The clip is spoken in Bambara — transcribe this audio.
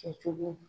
Kɛcogo